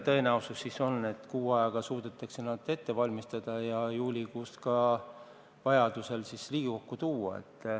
Kui kuu ajaga suudetakse need ette valmistada, siis juulikuus võiks eelnõu vajadusel Riigikokku tuua.